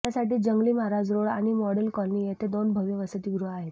त्यासाठी जंगली महाराज रोड आणि model colony येथे दोन भव्य वसतिगृहे आहेत